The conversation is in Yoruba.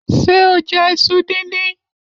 Ṣé o jẹ iṣu dindin?